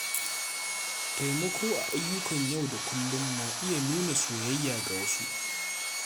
Taimako a ayyukan yau da kullum na iya nuna soyayya ga wasu.